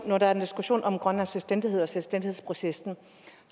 når der er diskussion om grønlands selvstændighed og selvstændighedsprocessen